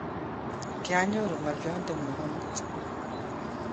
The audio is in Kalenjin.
kionyoru ngolionte ngung amut.